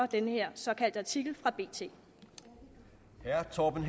den her såkaldte artikel fra bt som herre torben